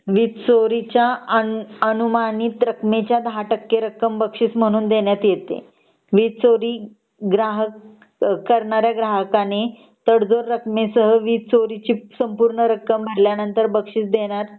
वीज चोरीच्या अनुमानित रकमेच्या 10 टक्के रक्कम बक्षीस म्हणून देण्यात येते वीज चोरी ग्राहक करणाऱ्या ग्राहकाने तडजोड रकमे सह वीज चोरीची संपूर्ण रक्कम भरल्यानंतर बक्षीस देण्यात